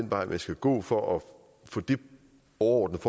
vej man skal gå for at få det overordnede